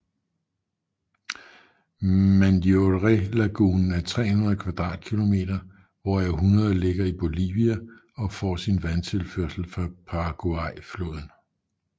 Mandiorélagunen er 300 kvadratkilometer hvoraf 100 ligger i Bolivia og får sin vandtilførsel fra Paraguayfloden